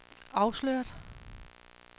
afsløret